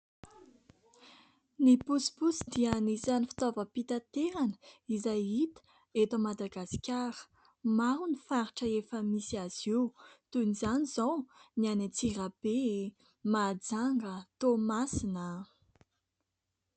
Ny posiposy dia anisan'ny fitaovam-pitaterana izay hita eto Madagasikara. Maro ny faritra efa misy azy io. Toy izany izao ny any Antsirabe, Mahajanga, Toamasina.